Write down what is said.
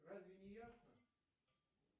разве не ясно